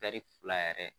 fila yɛrɛ